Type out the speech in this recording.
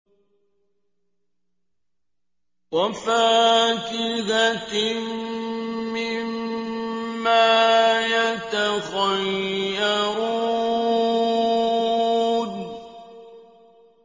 وَفَاكِهَةٍ مِّمَّا يَتَخَيَّرُونَ